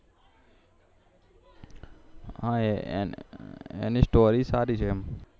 હા એની સ્ટોરી સારી છે એમ